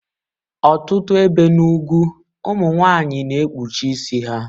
Ọtụtụ ebe n'ugwu ụmụ nwanyị na-ekpuchi isi ha